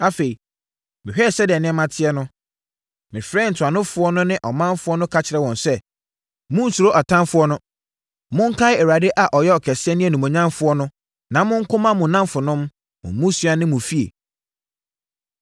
Afei, mehwɛɛ sɛdeɛ nneɛma teɛ no, mefrɛɛ ntuanofoɔ no ne ɔmanfoɔ no ka kyerɛɛ wɔn sɛ, “Monnsuro atamfoɔ no! Monkae Awurade a ɔyɛ ɔkɛseɛ ne onimuonyamfoɔ no na monko mma mo nnamfonom, mo mmusua ne mo afie.”